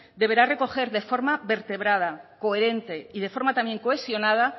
deberá recoger de forma vertebrada coherente y de forma también cohesionada